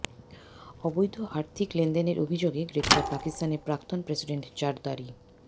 অবৈধ আর্থিক লেনদেনের অভিযোগে গ্রেফতার পাকিস্তানের প্রাক্তন প্রেসিডেন্ট জারদারি